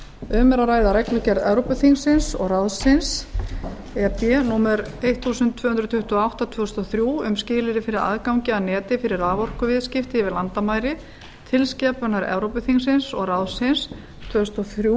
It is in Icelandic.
um er að ræða reglugerð evrópuþingsins og ráðsins e b númer tólf hundruð tuttugu og átta tvö þúsund og þrjú um skilyrði fyrir aðgangi að neti fyrir raforkuviðskipti yfir landamæri tilskipanir evrópuþingsins og ráðsins tvö þúsund og þrjú